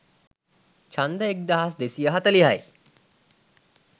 ඡන්ද එක්දහස් දෙසිය හතලිහයි.